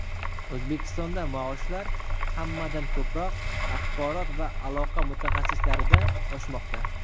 O‘zbekistonda maoshlar hammadan ko‘proq axborot va aloqa mutaxassislarida oshmoqda.